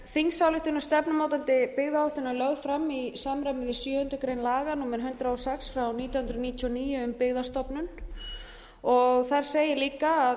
þingsályktun stefnumótandi byggðaáætlunar var lögð fram í samræmi við sjöundu grein laga númer hundrað og sex nítján hundruð níutíu og níu um byggðastofnun þar segir líka